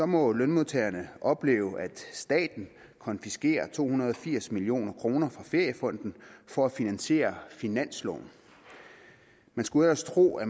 må lønmodtagerne opleve at staten konfiskerer to hundrede og firs million kroner fra feriefonden for at finansiere finansloven man skulle ellers tro at